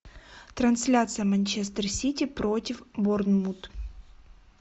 трансляция манчестер сити против борнмут